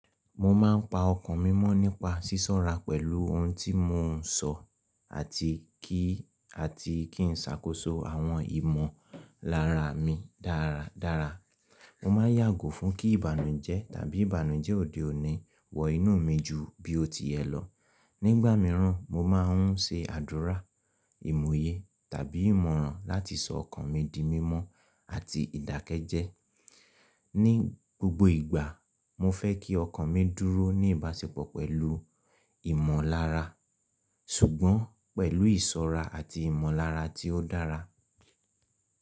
Mo máa ń pa ọkàn mi mọ́ nípa sísọ́ra pẹ̀lú ohun tí mò ń sọ àti kí àti kí n ṣàkóso àwọn ìmọ̀lára mi dára dára. Mo máa n yàgò fún kí ìbànújẹ́ tàbí ìbànújẹ́ òde òní wọ inú mi ju bí ó ti yẹ lọ. Nígbà mìíràn, mo máa ń ṣe àdúrà, ìmòye tàbí ìmọ̀ràn láti sọ ọkàn mi di mímọ́ àti ìdákẹ́jẹ́. Ní gbogbo ìgbà, mo fẹ́ kí ọkàn mi dúró ní ìbáṣepọ̀ pẹ̀lú ìmọ̀lára, ṣùgbọ́n pẹ̀lú ìsọ́ra àti ìmọ̀lára tí ó dára.